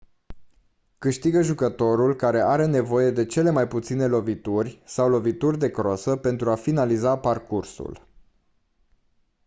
câștigă jucătorul care are nevoie de cele mai puține lovituri sau lovituri de crosă pentru a finaliza parcursul